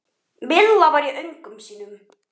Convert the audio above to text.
Milla var í öngum sínum.